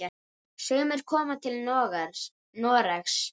Sumir koma til Noregs.